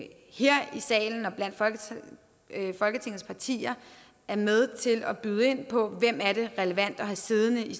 salen og blandt folketingets partier er med til at byde ind på hvem det er relevant at have siddende i